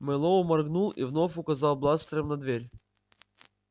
мэллоу моргнул и вновь указал бластером на дверь